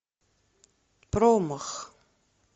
промах